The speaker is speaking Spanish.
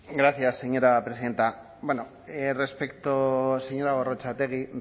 gracias señora presidenta señora gorrotxategi